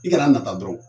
I kana a nata dɔrɔn